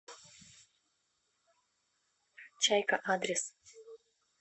чайка адрес